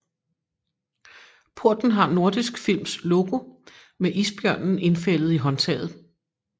Porten har Nordisk Films logo med isbjørnen indfældet i håndtaget